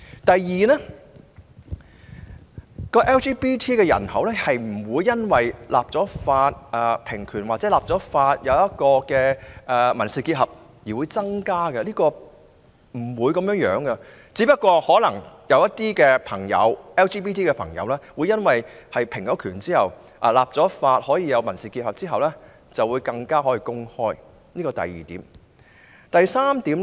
第二 ，LGBT 人口不會因為立法平權或立法賦予民事結合的權利而增加，情況不會如此，而可能只會出現更多 LGBT 朋友在平權或立法獲賦予民事結合的權利後公開自己的性傾向。